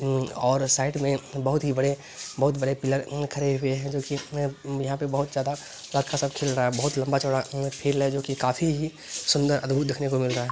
अम्म और साइड में बहुत ही बड़े बहुत बड़े पिलर अम्म खड़े हुए हैं जो की देखिए में अम्म यहाँ पे बहोत ज़्यादा चल रहा है बहोत लंबा चौड़ा अम्म फील्ड है जो कि काफी ही सुंदर अद्भुत देखने को मिल रहा है।